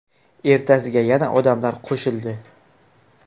Ertasiga yana odamlar qo‘shildi.